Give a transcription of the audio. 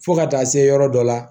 Fo ka taa se yɔrɔ dɔ la